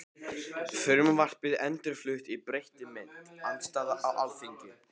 Frumvarpið endurflutt í breyttri mynd- Andstaða á Alþingi